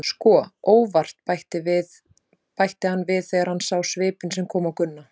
Sko, ÓVART, bætti hann við þegar hann sá svipinn sem kom á Gunna.